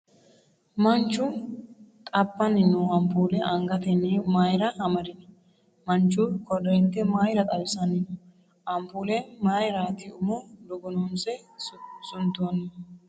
Manchu xabbanni no ampuulle angatenni mayra amadino ? Manchu koreente mayra xawisanni no ? Ampuulle mayraati umo dugunuunsine suntoonnihu ?